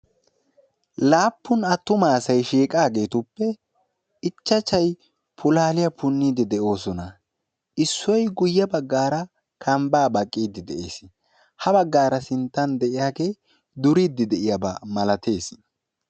laapun attuma asay shiiqageetuppe ichchacha pulaliyyaa punidde de'oosona issoy guyye baggara kambba baqqide de'ees ha baggara sinttan de'iyaage duridde d'iyaaba malatees.